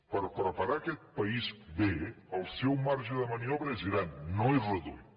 per preparar aquesta país bé el seu marge de maniobra és gran no és reduït